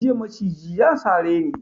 Jiya maciji ya sare ni.